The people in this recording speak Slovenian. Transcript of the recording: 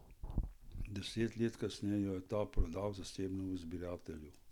Deset let kasneje jo je ta prodal zasebnemu zbiratelju.